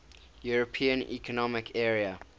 european economic area